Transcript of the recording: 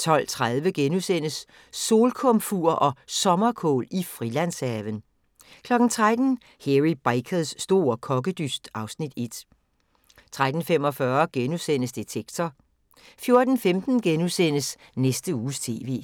12:30: Solkomfur og Sommerkål i Frilandshaven * 13:00: Hairy Bikers store kokkedyst (Afs. 1) 13:45: Detektor * 14:15: Næste Uges TV *